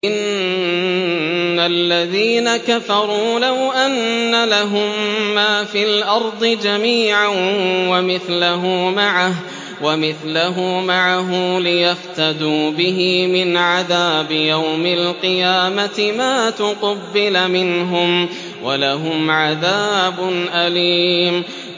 إِنَّ الَّذِينَ كَفَرُوا لَوْ أَنَّ لَهُم مَّا فِي الْأَرْضِ جَمِيعًا وَمِثْلَهُ مَعَهُ لِيَفْتَدُوا بِهِ مِنْ عَذَابِ يَوْمِ الْقِيَامَةِ مَا تُقُبِّلَ مِنْهُمْ ۖ وَلَهُمْ عَذَابٌ أَلِيمٌ